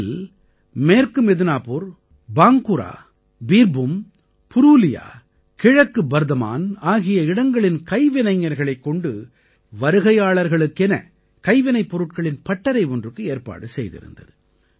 இதில் மேற்கு மித்னாபுர் பாங்குரா பீர்பூம் புரூலியா கிழக்கு பர்தமான் ஆகிய இடங்களின் கைவினைஞர்களைக் கொண்டு வருகையாளர்களுக்கென கைவினைப் பொருட்களின் பட்டறை ஒன்றுக்கு ஏற்பாடு செய்திருந்தது